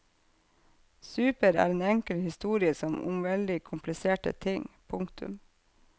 Super er en enkel historie om veldig kompliserte ting. punktum